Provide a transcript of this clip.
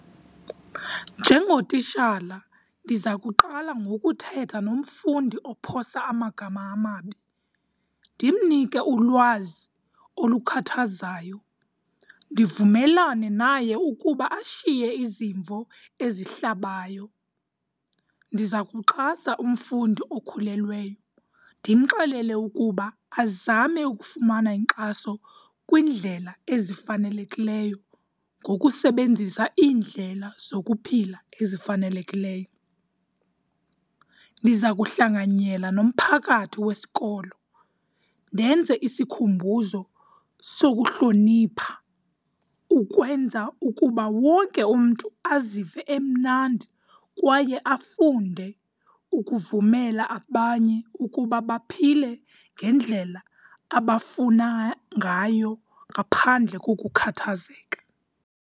Njengotitshala, ndiza kuqala ngokuthetha nomfundi ophosa amagama amabi ndimnike ulwazi olukhathazayo, ndivumelane naye ukuba ashiye izimvo ezihlabayo. Ndiza kuxhasa umfundi okhulelweyo ndimxelele ukuba azame ukufumana inkxaso kwindlela ezifanelekileyo ngokusebenzisa iindlela zokuphila ezifanelekileyo. Ndiza kuhlanganyela nomphakathi wesikolo ndenze isikhumbuzo sokuhlonipha ukwenza ukuba wonke umntu azive emnandi kwaye afunde ukuvumela abanye ukuba baphile ngendlela abafuna ngayo ngaphandle kokukhathazeka.